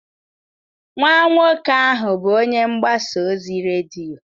Nwa nwoke ahụ bụ onye mgbasa ozi redio.